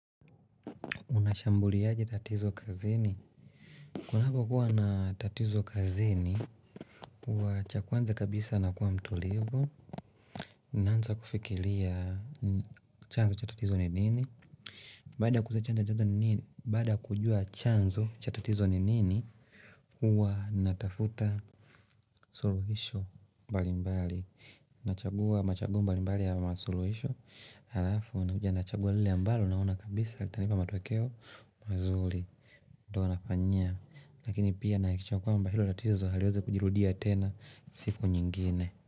Unashambuliaje tatizo kazini. Kunako kuwa na tatizo kazini, huwa cha kwanza kabisa nakuwa mtulivu. Naanza kufikiria chanzo cha tatizo ni nini. Baada ya kujua chanzo cha tatizo ni nini Baada kujua chanzo cha tatizo ni nini, huwa natafuta suluhisho mbalimbali. Nachagua machaguo mbali mbali ya masuluhisho. Halafu, nakuja nachagua lile ambalo, naona kabisa, litanipa matokeo mazuri. Ndiyo wanafanyia Lakini pia nahikisha kwamba hilo latizo haliwezi kujirudia tena siku nyingine.